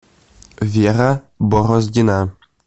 вера бороздина